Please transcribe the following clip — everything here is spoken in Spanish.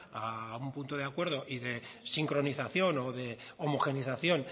a un punto de acuerdo y de sincronización o de homogeneización